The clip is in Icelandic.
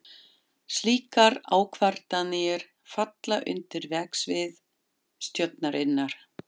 Slíkar ákvarðanir falla undir verksvið stjórnarinnar.